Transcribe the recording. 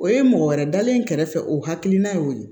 O ye mɔgɔ wɛrɛ dalen kɛrɛfɛ o hakilina ye o ye